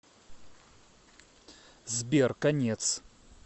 сбер конец